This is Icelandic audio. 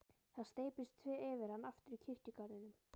Það steyptist yfir hann aftur í kirkjugarðinum.